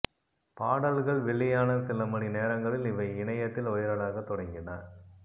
பாடல்கள் வெளியான சில மணி நேரங்களில் இவை இணையத்தில் வைரலாகத் தொடங்கின